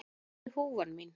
Hvar er húfan mín?